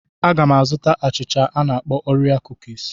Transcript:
Aga m azụta achịcha a na-akpọ orie kukis.